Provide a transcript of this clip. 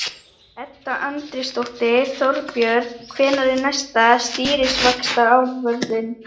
Edda Andrésdóttir: Þorbjörn, hvenær er næsta stýrivaxtaákvörðun?